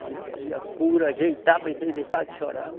Ainda fazia cura, ajeitava isso aí, deixava de chorar.